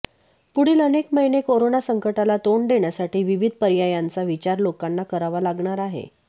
पुढील अनेक महिने कोरोना संकटाला तोंड देण्यासाठी विविध पर्यायांचा विचार लोकांना करावा लागणार आहे